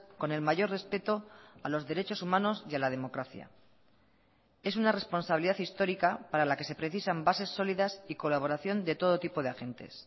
con el mayor respeto a los derechos humanos y a la democracia es una responsabilidad histórica para la que se precisan bases sólidas y colaboración de todo tipo de agentes